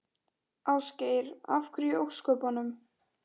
Ásgeir: Af hverju í ósköpunum?